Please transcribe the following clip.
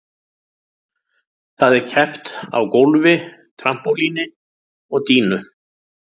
Þar er keppt á gólfi, trampólíni og dýnu.